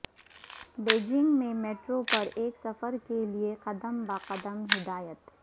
Beijing میں metro پر ایک سفر کے لئے قدم بہ قدم ہدایات